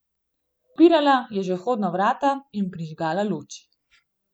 Odpirala je že vhodna vrata in prižgala luč.